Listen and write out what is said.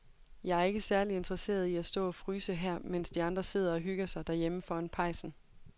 Jeg er ikke særlig interesseret i at stå og fryse her, mens de andre sidder og hygger sig derhjemme foran pejsen.